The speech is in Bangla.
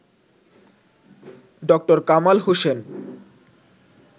ড. কামাল হোসেন